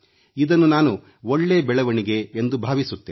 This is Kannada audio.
ಇದನ್ನು ನಾನು ಒಳ್ಳೇ ಬೆಳವಣಿಗೆ ಎಂದು ಭಾವಿಸುತ್ತೇನೆ